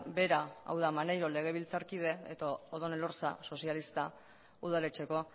bera hau da maneiro legebiltzarkide edo odón elorza sozialista udaletxeko